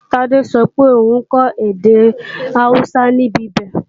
Tádé sọ pé òun kọ́ èdè Awúsá níbibẹ̀